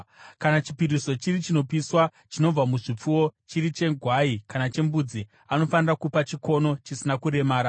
“ ‘Kana chipiriso chiri chinopiswa, chinobva muzvipfuwo, chiri chegwai kana chembudzi, anofanira kupa chikono chisina kuremara.